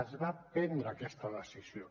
es va prendre aquesta decisió